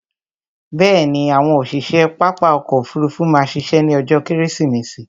Bẹ̀ẹ̀ni, àwọn òṣiṣe pápá ọkò òfurufú má ṣiṣẹ́ ní ọjó kẹ́rẹ́sìmẹsì